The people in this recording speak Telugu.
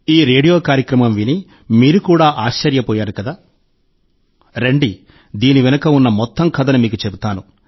ఈ రేడియో కార్యక్రమం విని మీరు కూడా ఆశ్చర్యపోయారు కదా రండి దీని వెనుక ఉన్న మొత్తం కథను మీకు చెప్తాను